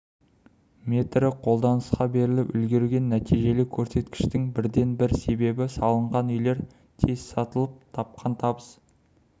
метрі қолданысқа беріліп үлгерген нәтижелі көрсеткіштің бірден бір себебі салынған үйлер тез сатылып тапқан табыс